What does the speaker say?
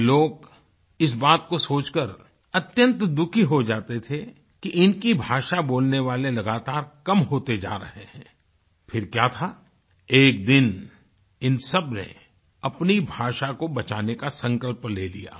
ये लोग इस बात को सोचकर अत्यंत दुखी हो जाते थे कि इनकी भाषा बोलने वाले लोग लगातार कम होते जा रहे हैं फिर क्या था एक दिन इन सबने अपनी भाषा को बचाने का संकल्प ले लिया